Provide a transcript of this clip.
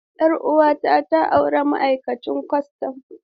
Yar uwata ta auri ma'aikacin kwastan.